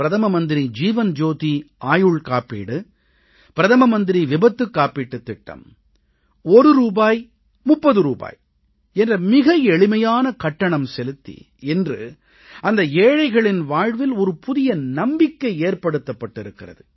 பிரதம மந்திரி ஜீவன் ஜோதி ஆயுள் காப்பீடு பிரதம மந்திரி விபத்துக் காப்பீடுத் திட்டம் ஒரு ரூபாய் 30 ரூபாய் என்ற மிக எளிமையான கட்டணம் செலுத்தி இன்று அந்த ஏழைகளின் வாழ்வில் ஒரு புதிய நம்பிக்கை ஏற்படுத்தப்பட்டிருக்கிறது